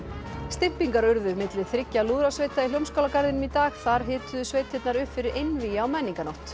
stympingar urðu milli þriggja lúðrasveita í Hljómskálagarðinum í dag þar hituðu sveitirnar upp fyrir einvígi á menningarnótt